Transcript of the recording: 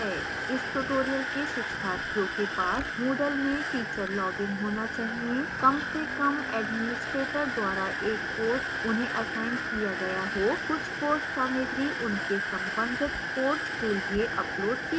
इस tutorial के शिक्षार्थियों के पास moodle में teacher login होना चाहिए कम से कम administrator द्वारा एक कोर्स उन्हें असाइन किया गया हो कुछ कोर्स सामग्री उनके संबंधित कोर्स के लिए अपलोड की गई हो